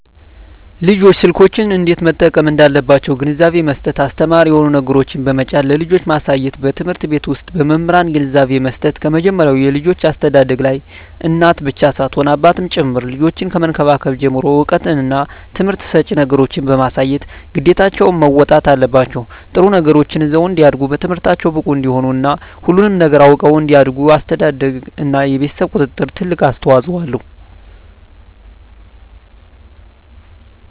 ልጆች ስልኮችን እንዴት መጠቀም እንዳለባቸዉ ግንዛቤ መስጠት አስተማሪ የሆኑ ነገሮችን በመጫን ለልጆች ማሳየትበትምህርት ቤት ዉስጥ በመምህራን ግንዛቤ መስጠት ከመጀመሪያዉ የልጆች አስተዳደግላይ እናት ብቻ ሳትሆን አባትም ጭምር ልጆችን ከመንከባከብ ጀምሮ እዉቀትና ትምህርት ሰጭ ነገሮችን በማሳየት ግዴታቸዉን መወጣት አለባቸዉ ጥሩ ነገሮችን ይዘዉ እንዲያድጉ በትምህርታቸዉ ብቁ እንዲሆኑ እና ሁሉንም ነገር አዉቀዉ እንዲያድጉ አስተዳደርግ እና የቤተሰብ ቁጥጥር ትልቅ አስተዋፅኦ አለዉ